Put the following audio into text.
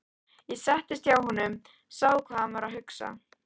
Ég settist hjá honum, sá hvað hann var að hugsa.